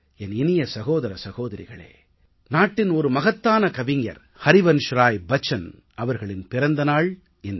என் இனிய சகோதர சகோதரிகளே நாட்டின் ஒரு மகத்தான கவிஞர் ஹரிவன்ஷ்ராய் பச்சன் அவர்களின் பிறந்த நாள் இன்று